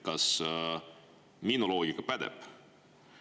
Kas minu loogika pädeb?